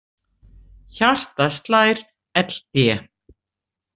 Hjartað slær ld.